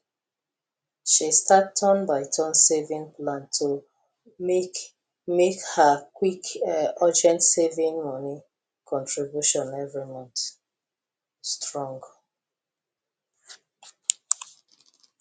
she start turn by turn saving plan to make make her quick urgent saving money contribution every month strong